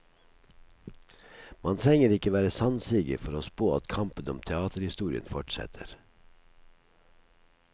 Man trenger ikke være sannsiger for å spå at kampen om teaterhistorien fortsetter.